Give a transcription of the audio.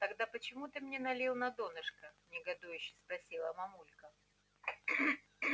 тогда почему ты мне налил на донышко негодующе спросила мамулька